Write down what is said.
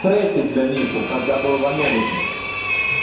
треки для них когда был в америке